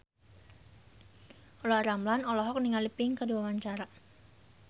Olla Ramlan olohok ningali Pink keur diwawancara